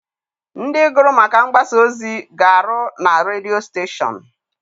Ndị gụrụ maka mgbasaozi ga-arụ na redio steshọn.